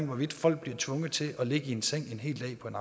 hvorvidt folk bliver tvunget til at ligge i en seng en hel dag på en